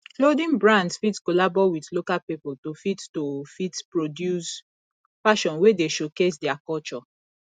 clothing brands fit collabo with local pipo to fit to fit produce fashion wey dey showcase their culture